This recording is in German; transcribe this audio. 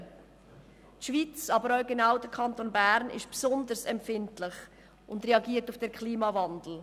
Die Schweiz, aber gerade auch der Kanton Bern, ist besonders empfindlich und reagiert auf den Klimawandel.